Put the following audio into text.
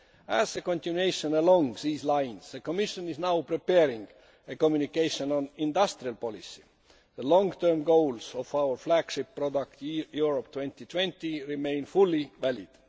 As a continuation along these lines, the Commission is now preparing a communication on industrial policy. The long term goals of our flagship product, Europe 2020, remain fully valid.